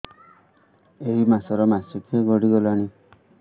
ଏଇ ମାସ ର ମାସିକିଆ ଗଡି ଗଲାଣି